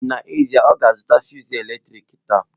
N'ezie, ọ ga-azụta fụsụ eletrik taa